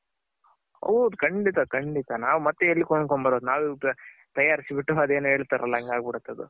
ಹೌದ್ ಖಂಡಿತ ಖಂಡಿತ ನಾವ್ ಮತ್ತೆ ಎಲ್ ಕೊಂಡ್ ಕೊಂಡ್ ಬರೋದು ನಾವೇ ಉಪ ನಾವೇ ತಯಾರ್ಸ್ ಬಿಟ್ಟು ಅದೇನೂ ಹೇಳ್ತಾರಲ್ಲ ಹಂಗ ಆಗ್ ಬಿಡುತ್ತದು.